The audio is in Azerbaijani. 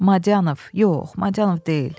Madianov, yox, Madianov deyil.